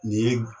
Nin ye